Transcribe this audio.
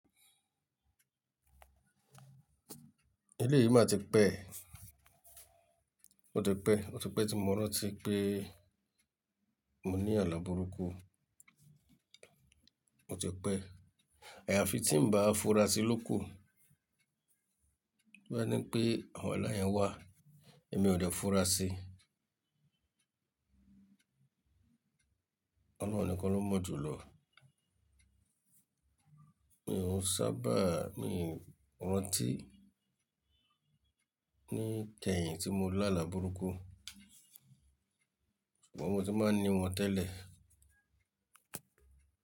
Eléyìí má ti pẹ́. Ó ti pẹ́, ó ti pẹ́ tí mo rántí pé mo ní àlà burúkú. Ó ti pẹ́. Àyàfi tí ń bá fura sí lóku. Boya ní n pé, "awọn ala yẹn wá, èmi ò dẹ́ fura sí." Ọlọ́run nìkan ló mọ̀ jù lọ. Mi ò sábà, mii rántí ní kẹ́yìn tí mo làlà burúkú. Ṣùgbọ́n mo ti máa ń ní wọn tẹ́lẹ̀